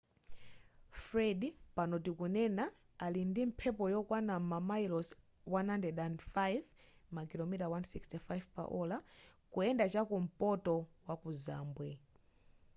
fred pano tikunena ali ndi mphepo yokwana mamayilosi 105 makilomita 165 pa ola kuyenda chakumpoto waku zambwe